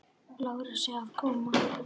Lárusi að koma.